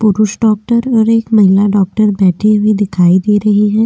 पुरुष डॉक्टर और एक महिला डॉक्टर बैठे हुए दिखाई दे रहे हैं।